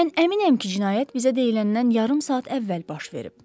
Mən əminəm ki, cinayət bizə deyiləndən yarım saat əvvəl baş verib.